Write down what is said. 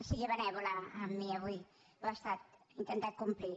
sigui benèvola amb mi avui ho ha estat he intentat complir